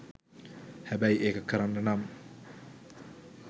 හැබැයි ඒක කරන්න නම්